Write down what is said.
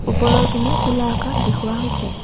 ওপৰৰ পিনে খোলা আকাশ দেখুওৱা হৈছে।